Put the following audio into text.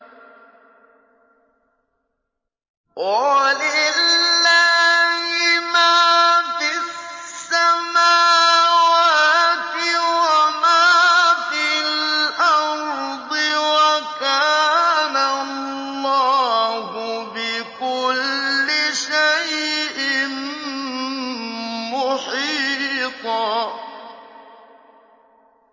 وَلِلَّهِ مَا فِي السَّمَاوَاتِ وَمَا فِي الْأَرْضِ ۚ وَكَانَ اللَّهُ بِكُلِّ شَيْءٍ مُّحِيطًا